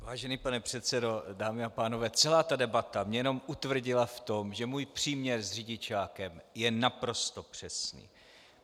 Vážený pane předsedo, dámy a pánové, celá ta debata mě jenom utvrdila v tom, že můj příměr s řidičákem je naprosto přesný.